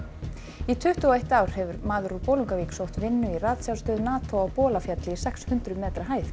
í tuttugu og eitt ár hefur maður úr Bolungarvík sótt vinnu í ratsjárstöð NATO á Bolafjalli í sex hundruð metra hæð